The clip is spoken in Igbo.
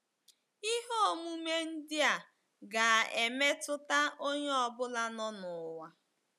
Ihe omume ndị a ga-emetụta onye ọ bụla nọ n'ụwa.